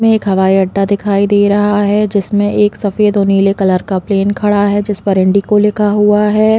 एक हवाई अड्डा दिखाई दे रहा है जिसमे एक सफ़ेद और नील कलर का प्लेन खड़ा है जिस पर इंडिगो लिखा हुआ है।